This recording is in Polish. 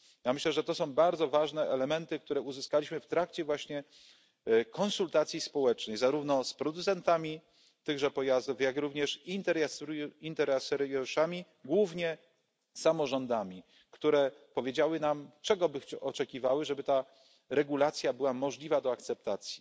Ja myślę, że to są bardzo ważne elementy, które uzyskaliśmy w trakcie właśnie konsultacji społecznych zarówno z producentami tychże pojazdów, jak również interesariuszami, głównie samorządami, które powiedziały nam, czego by oczekiwały, żeby ta regulacja była możliwa do akceptacji.